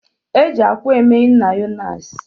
E ji akwa eme mayonisi